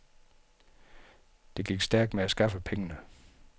Det gik stærkt med at skaffe pengene.